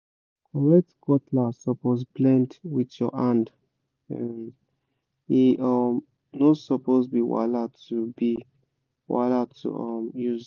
correct cutlass suppose blend with your hand—e um no suppose be wahala to be wahala to um use